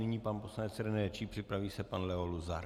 Nyní pan poslanec René Číp, připraví se pan Leo Luzar.